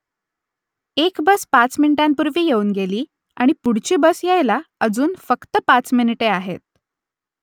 एक बस पाच मिनिटांपूर्वी येऊन गेली आणि पुढची बस यायला अजून फक्त पाच मिनिटे आहेत